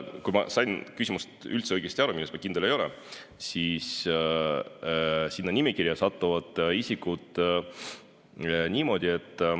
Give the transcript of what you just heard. Kas ma sain küsimusest õigesti aru, selles ma kindel ei ole, aga vastan, et sinna nimekirja satuvad isikud niimoodi.